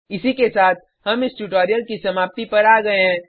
इसी के साथ हम इस ट्यूटोरियल की समाप्ति पर आ गये हैं